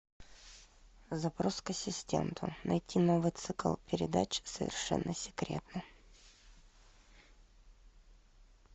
запрос к ассистенту найти новый цикл передач совершенно секретно